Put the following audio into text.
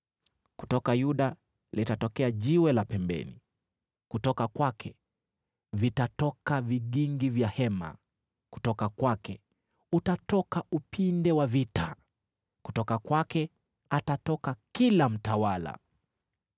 Kutoka Yuda litatokea Jiwe la pembeni, kutoka kwake vitatoka vigingi vya hema, kutoka kwake utatoka upinde wa vita, kutoka kwake atatoka kila mtawala.